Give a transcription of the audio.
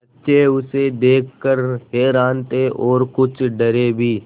बच्चे उसे देख कर हैरान थे और कुछ डरे भी